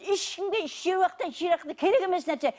ешкімге еш уақытта керек емес нәрсе